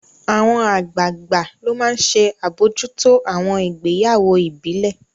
Àwọn àgbààgbà ló máa n ṣe àbojútó àwọn ìgbéyàwó ìbílẹ̀